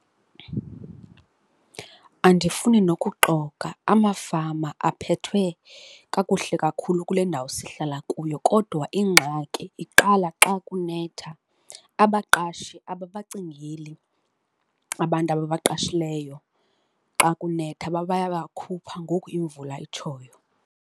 Andifuni nokuxoka amafama aphethwe kakuhle kakhulu kule ndawo sihlala kuyo kodwa ingxaki iqala xa kunetha. Abaqashi ababacingeli abantu ababaqashileyo xa kunetha bayabakhupha ngoku imvula itshoyo.